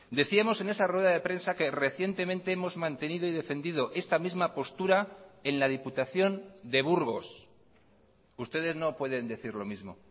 decíamos en esa rueda de prensa que recientemente hemos mantenido y defendido esta misma postura en la diputación de burgos ustedes no pueden decir lo mismo